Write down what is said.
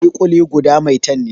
Ƙuli-ƙuli guda maitan ne